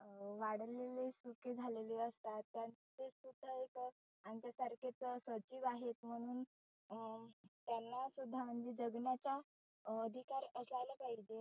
अं वाढलेले सुखे झालेले असतात. त्यात ते सुद्धा एक आमच्या सारखेच सजिव आहे म्हणुन अं त्यांना सुध्दा म्हणजे जगण्याचा अधिकार असायला पाहिजे.